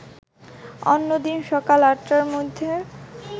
অন্যদিন সকাল ৮টার মধ্যে